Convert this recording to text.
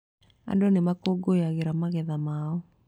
Andũ nĩ makũngũyagĩra magetha mao.